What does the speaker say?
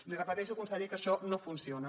li repeteixo conseller que això no funciona